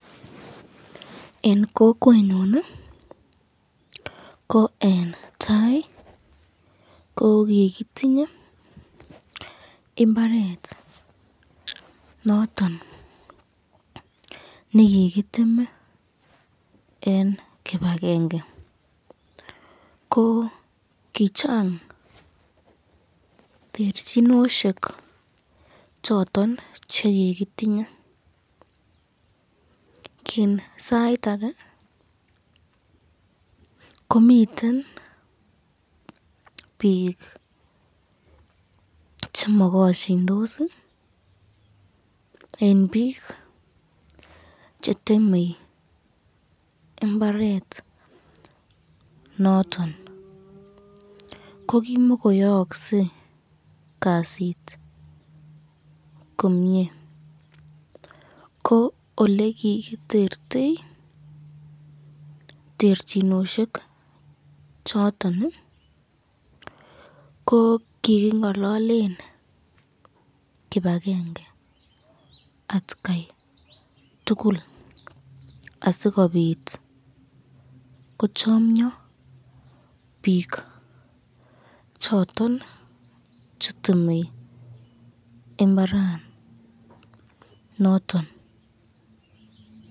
Eng kokwenyun ko eng tai ko kikitinye imbaret noton nekikiteme eng kibakenge, ko kochang terchinosyek choton chekikitinye, ki sait ake komiten bik chemakosyindos eng bik cheteme imbaret noton, kokimako yaaksen Kasit komnye, ko olekikiterte terchinosyek choton ko kikingalalen kibakenge atkai tukul asikobit kochamnyo bik choton cheteme imbaranoton